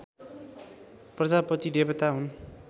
प्रजापति देवता हुन्